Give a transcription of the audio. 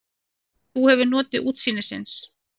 Þú hefur notið útsýnisins?